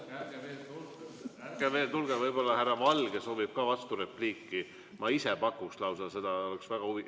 Ärge veel tulge, võib-olla härra Valge soovib ka vasturepliiki, ma lausa pakuks seda, oleks huvi.